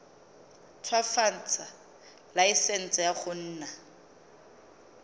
ntshwafatsa laesense ya go nna